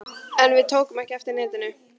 En við tókum ekki eftir neinu.